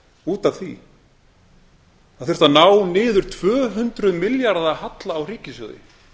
út af því það þurfti að ná niður tvö hundruð milljarða halla á ríkissjóði